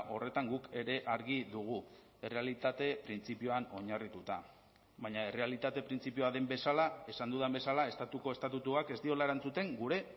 horretan guk ere argi dugu errealitate printzipioan oinarrituta baina errealitate printzipioa den bezala esan dudan bezala estatuko estatutuak ez diola erantzuten gure